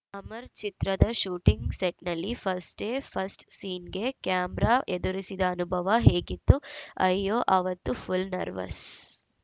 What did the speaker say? ಅಮರ್‌ ಚಿತ್ರದ ಶೂಟಿಂಗ್‌ ಸೆಟ್‌ನಲ್ಲಿ first day first ಸೀನ್‌ಗೆ ಕ್ಯಾಮರಾ ಎದುರಿಸಿದ ಅನುಭವ ಹೇಗಿತ್ತು ಅಯ್ಯೋ ಅವತ್ತು ಫುಲ್‌ ನರ್ವಸ್‌